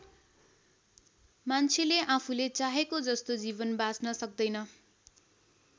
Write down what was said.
मान्छेले आफूले चाहेको जस्तो जीवन बाँच्न सक्दैन।